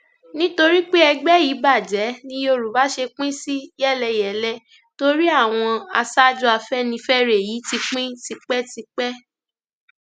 nítorí pé ẹgbẹ yìí bàjẹ ni yorùbá ṣe pín sí yẹlẹyẹlẹ torí àwọn aṣáájú afẹnifẹre yìí ti pín tipẹ